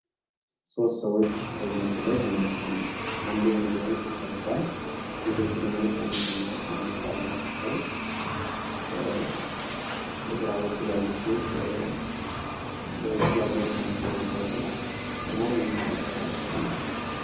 ሶስት ሰዎች በዚህ ላይ ተመልክተናል አንዱ ወንድ ነው ሱፍ ለብሷል ሴቶቹ ደግሞ ቀሚስና ነጠላ ለብሰው በግራ በኩል ያለችው በእጃ ቦርሳ ነገር አንጠልጥላ ቁመው እንመለከታቸዋለን።